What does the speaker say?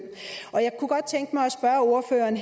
kunne godt tænke mig at spørge ordføreren